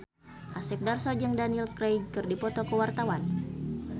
Asep Darso jeung Daniel Craig keur dipoto ku wartawan